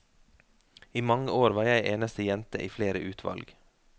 I mange år var jeg eneste jente i flere utvalg.